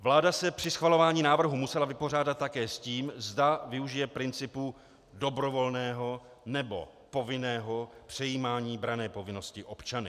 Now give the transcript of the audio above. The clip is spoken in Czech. Vláda se při schvalování návrhu musela vypořádat také s tím, zda využije principu dobrovolného, nebo povinného přejímání branné povinnosti občany.